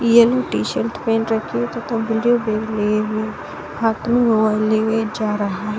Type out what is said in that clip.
Yellow T-shirt पेहन रखी है तथा ब्लू बैग लिए हुए हाथों में मोबाइल लिए हुए जा रहा है।